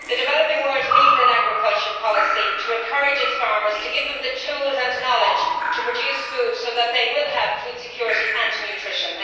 The developing world needs an agriculture policy to encourage its farmers to give them the tools and knowledge to produce food, so that they will have food security and nutrition.